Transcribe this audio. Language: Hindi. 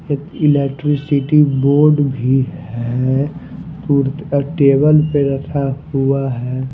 एक इलेक्ट्रिसिटी बोर्ड भी है। टेबल पर रखा हुआ है।